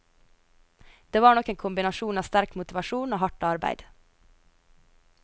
Det var nok en kombinasjon av sterk motivasjon og hardt arbeid.